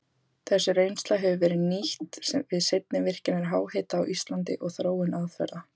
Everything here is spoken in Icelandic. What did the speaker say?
Þessi reynsla hefur verið nýtt við seinni virkjanir háhita á Íslandi og þróun aðferða.